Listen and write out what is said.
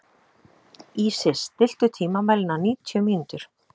Ísis, stilltu tímamælinn á níutíu mínútur.